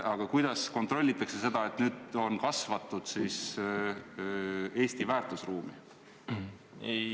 Aga kuidas kontrollitakse seda, et ta on kasvatatud Eesti väärtusruumi kohaselt?